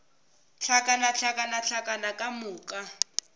hlakana hlakana hlakana ka moka